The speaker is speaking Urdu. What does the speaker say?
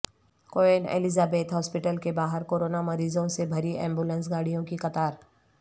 کوئن الزیبتھ ہاسپٹل کے باہر کورونا مریضوں سے بھری ایمبولنس گاڑیوں کی قطار